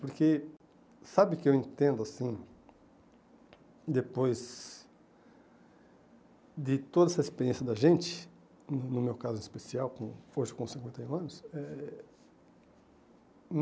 Porque, sabe o que eu entendo, assim, depois de toda essa experiência da gente, no no meu caso em especial, com força com cinquenta e um anos? É